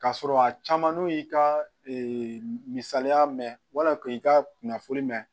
Ka sɔrɔ a caman n'u y'i ka misaliya mɛ wala k'i ka kunnafoni mɛn